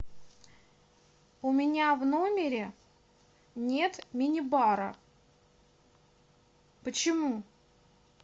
у меня в номере нет мини бара почему